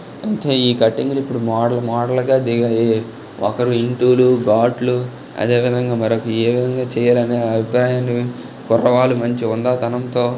ఇంక ఈ కటింగ్ ఇప్పుడు మోడల్ మోడల్ గా దిగాయి ఒక్కరు ఇంటులు గాట్లు అదేవిదంగా మరొకరు ఏ విధంగా చేయాలనేది అభిప్రాయాన్ని కుర్రవాళ్ళు మంచి హుందాతనంతో--